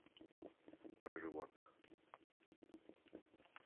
про животных